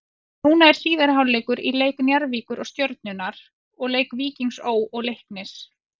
Núna er síðari hálfleikur í leik Njarðvíkur og Stjörnunnar og leik Víkings Ó. og Leiknis.